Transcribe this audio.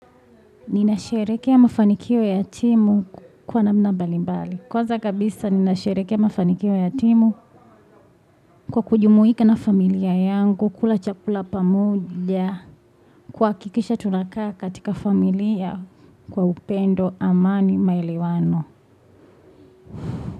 Ninasherehekea mafanikio ya timu kwa namna mbali mbali. Kwanza kabisa ninasherehekea mafanikio ya timu kwa kujumuika na familia yangu, kula chakula pamoja, kuhakikisha tunakaa katika familia, kwa upendo, amani, maelewano.